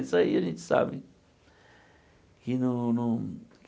Isso aí a gente sabe.